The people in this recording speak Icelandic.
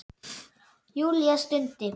Júlía stundi.